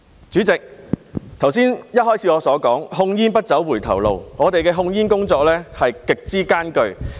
主席，我剛才開始發言時說控煙不走回頭路，我們的控煙工作極之艱巨。